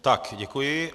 Tak děkuji.